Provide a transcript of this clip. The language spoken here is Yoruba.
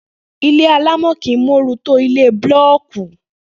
Ilé alámò̩ kìí móoru tó ilé búló̩ò̩kì